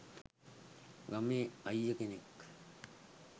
ගමේ අයිය කෙනෙක්.